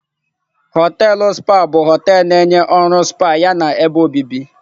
Họteelụ spa bụ họteelụ na-enye ọrụ spa yana ebe obibi.